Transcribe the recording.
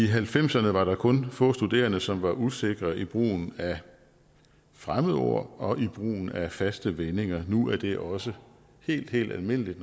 halvfemserne var der kun få studerende som var usikre i brugen af fremmedord og brugen af faste vendinger nu er det også helt helt almindeligt